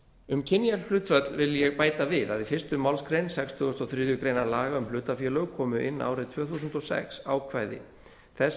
um kynjahlutföll vil ég bæta við að í fyrstu málsgrein sextugustu og þriðju grein laga um hlutafélög komu inn árið tvö þúsund og sex ákvæði þess